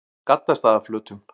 Gaddstaðaflötum